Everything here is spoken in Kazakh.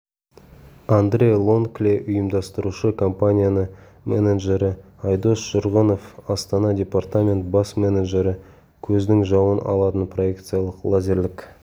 андре лонкле ұйымдастырушы компания менеджері айдос жұрғынов астана департамент бас менеджері көздің жауын алатын проекциялық лазерлік